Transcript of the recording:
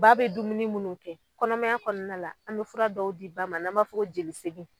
Ba bɛ dumuni minnu kɛ kɔnɔmaya kɔnɔna la an bɛ fura dɔw di ba ma n'an b'a fɔ ko jelisegin.